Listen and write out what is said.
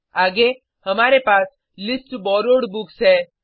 आगे हमारे पास लिस्ट बोरोवेड बुक्स है